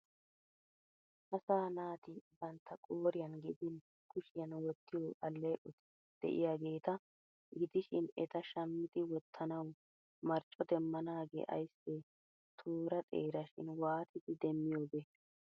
Asaa naati bantta qooriyan gidin kushiyan wottiyo alleeqoti de'iyageeta gidishin eta shammidi wottanawu marcco demmanaagee ayssee toora xeerashi waatidi demmiyobee!